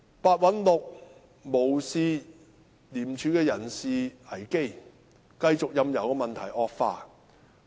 白韞六無視廉署的人事危機，繼續任由問題惡化。